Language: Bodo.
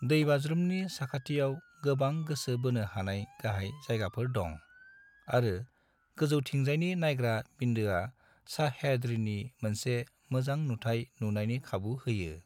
दैबाज्रुमनि साखाथियाव गोबां गोसो बोनो हानाय गाहाय जायगाफोर दं, आरो गोजौथिंजायनि नायग्रा बिन्दोआ सह्याद्रीनि मोनसे मोजां नुथाय नुनायनि खाबु होयो।